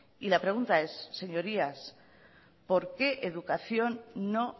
y la pregunta es señorías por qué educación no